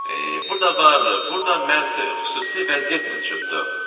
Burda var, burda məhz xüsusi vəziyyət mövcuddur.